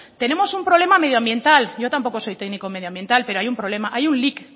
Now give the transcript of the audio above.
tenemos un problema medioambiental yo tampoco soy técnico medioambiental pero hay un problema hay un lic